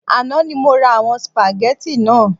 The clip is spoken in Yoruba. Àná ni mo ra àwon spaghetti naa